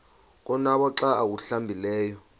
konwaba xa awuhlambileyo